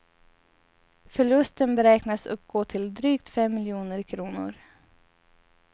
Förlusten beräknas uppgå till drygt fem miljoner kronor.